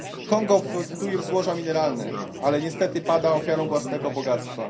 Kongo obfituje w złoża mineralne, ale niestety pada ofiarą własnego bogactwa.